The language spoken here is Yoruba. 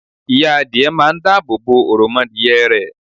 Ìya Adìe máa n dáàbò bo òròmọadìyẹ rẹ̀